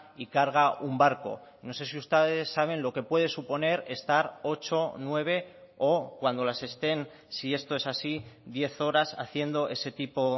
y carga un barco no sé si usted saben lo que puede suponer estar ocho nueve o cuando las estén si esto es así diez horas haciendo ese tipo